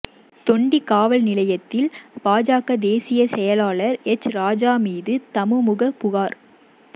தொண்டி காவல் நிலையத்தில் பாஜக தேசிய செயலாளா் எச் ராஜா மீது தமுமுக புகாா்